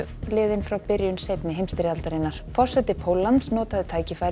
frá byrjun seinni heimsstyrjaldarinnar forseti Póllands notaði tækifærið